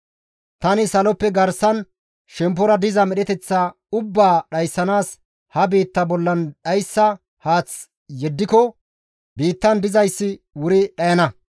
«Tani saloppe garsan shemppora diza medheteththa ubbaa dhayssanaas ha biitta bollan dhayssa haath yeddiko biittan dizayssi wuri dhayana.